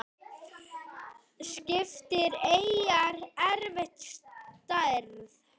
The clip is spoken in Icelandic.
Skiptar eyjar eftir stærð